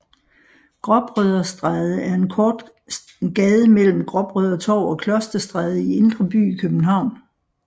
Gråbrødrestræde er en kort gade mellem Gråbrødretorv og Klosterstræde i Indre By i København